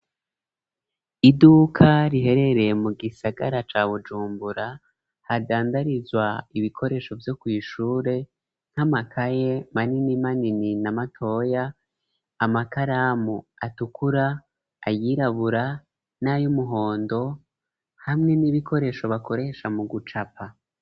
Iduka riherereye mu gisagara ca Bujumbura hadandarizwa ibikoresho vyo kw'ishure nk'amakaye manini manini na matoya amakaramu atukura ayirabura n'ayumuhondo hamwe n'ibikoresho bakoresha mu gucapa.